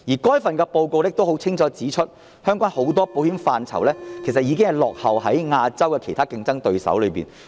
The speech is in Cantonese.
該份報告亦清楚指出，香港很多保險範疇，已經落後於亞洲其他競爭對手。